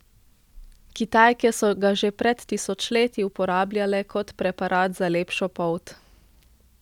Kitajke so ga že pred tisočletji uporabljale kot preparat za lepšo polt.